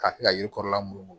K'a kɛ ka yiri kɔrɔla munumunu